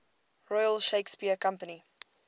royal shakespeare company